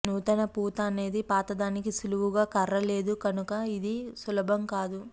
నూతన పూత అనేది పాతదానికి సులువుగా కర్ర లేదు కనుక ఇది సులభం కాదు